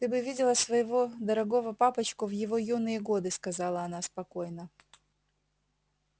ты бы видела своего дорогого папочку в его юные годы сказала она спокойно